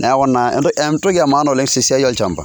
neeku naa entoki e maana oleng' te siai olchamba.